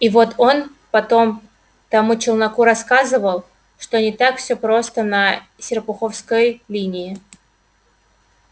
и вот он потом тому челноку рассказывал что не так всё просто на серпуховской линии